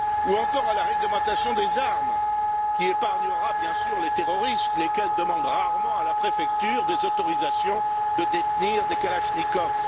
Ou encore à la réglementation des armes, qui épargnera bien sûr les terroristes, qui demandent rarement à la préfecture des autorisations de détenir des Kalachnikov.